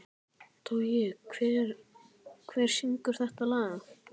Toggi, hver syngur þetta lag?